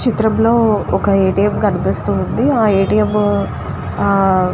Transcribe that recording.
చిత్రం లో ఒక ఏ. టి. ఎం. కనిపిస్తుంది ఆ ఏ. టి. ఎం. --